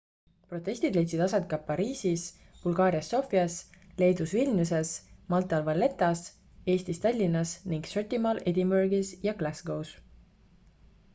protestid leidsid aset ka pariisis bulgaarias sofias leedus vilniuses maltal valettas eestis tallinnas ning šotimaal edinburgis ja glascows